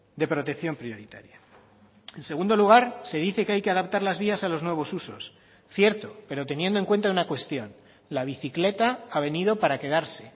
de protección prioritaria en segundo lugar se dice que hay que adaptar las vías a los nuevos usos cierto pero teniendo en cuenta una cuestión la bicicleta ha venido para quedarse